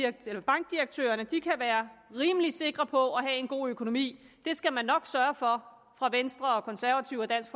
at bankdirektørerne kan være rimelig sikre på at have en god økonomi skal nok sørge for fra venstres og konservatives og dansk